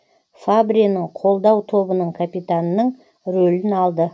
фабренің қолдау тобының капитанының рөлін алды